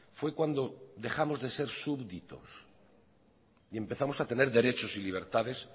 fue cuando dejamos de ser súbditos y empezamos a tener derechos y libertades